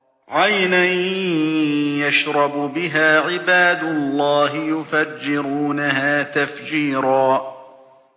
عَيْنًا يَشْرَبُ بِهَا عِبَادُ اللَّهِ يُفَجِّرُونَهَا تَفْجِيرًا